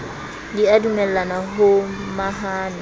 di a dumellana mo mahano